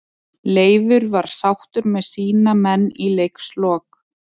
Leifur var sáttur með sína menn í leikslok.